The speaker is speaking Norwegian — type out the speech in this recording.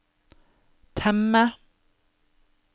temme